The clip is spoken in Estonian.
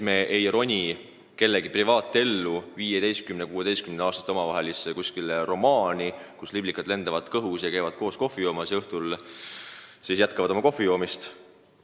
Me ei roni kellegi privaatellu, 15–16-aastaste omavahelisse romaani, kus liblikad lendavad kõhus ja nad käivad koos kohvi joomas ja õhtulgi jätkavad oma kohvijoomist.